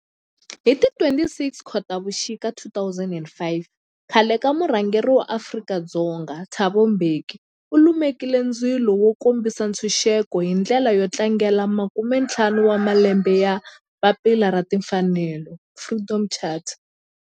Hi ti 26 Khotavuxika 2005 khale ka murhangeri wa Afrika-Dzonga Thabo Mbeki u lumekile ndzilo wo kombisa ntshuxeko, hi ndlela yo tlangela makume-ntlhanu wa malembe ya papila ra timfanelo, Freedom Charter.